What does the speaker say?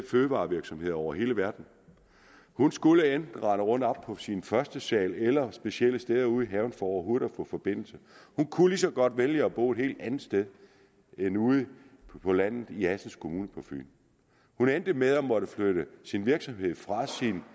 fødevarevirksomhed over hele verden hun skulle enten rende rundt oppe på sin første sal eller specielle steder ude i haven for overhovedet at få forbindelse hun kunne lige så godt vælge at bo et helt andet sted end ude på landet i assens kommune på fyn og hun endte med at måtte flytte sin virksomhed fra